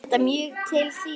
Er þetta mjög til prýði.